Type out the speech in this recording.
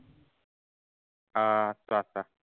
অ চোৱা চোৱা